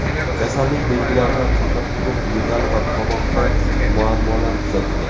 Kasallik belgilaridan faqat quruq yo‘tal va tomoqda muammolar kuzatilgan.